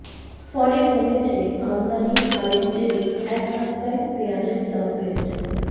ফলে কমেছে আমদানি আর এর জেরেই এক ধাক্কায় পেঁয়াজের দাম বেড়েছে